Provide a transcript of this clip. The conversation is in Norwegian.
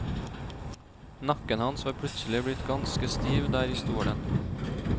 Nakken hans var plutselig blitt ganske stiv der i stolen.